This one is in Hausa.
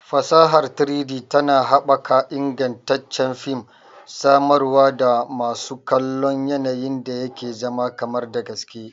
Fasahar 3-D tana haɓaka ingantaccen fim, samarwa da masu kallo yanayin da yake zama kamar da gaske